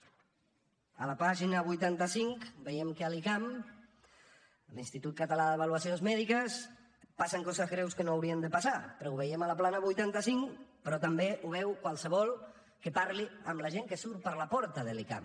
a la pàgina vuitanta cinc veiem que a l’icam l’institut català d’avaluacions mèdiques passen coses greus que no haurien de passar però ho veiem a la plana vuitanta cinc però també ho veu qualsevol que parli amb la gent que surt per la porta de l’icam